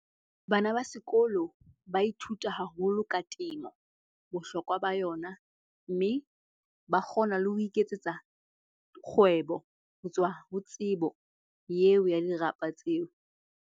Bana ba sekolo ba ithuta haholo ka temo, bohlokwa ba yona. Mme ba kgona le ho iketsetsa kgwebo ho tswa ho tsebo eo ya dirapa tseo.